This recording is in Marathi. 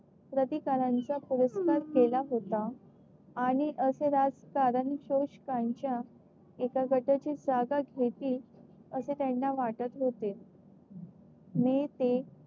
प्रतिकाराचा परस्पर केला होता. आणि असे राजकारण शोषकांच्या यंदा कदाचित जागा घेतील असे त्यांना वाटत होते. मे ते